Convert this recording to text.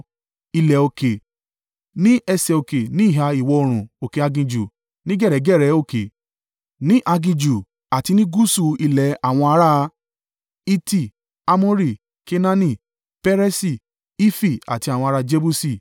ilẹ̀ òkè, ní ẹsẹ̀ òkè ní ìhà ìwọ̀-oòrùn òkè aginjù, ní gẹ̀rẹ́gẹ̀rẹ́ òkè, ní aginjù àti nì gúúsù ilẹ̀ àwọn ará: Hiti, Amori, Kenaani, Peresi, Hifi àti àwọn ará Jebusi).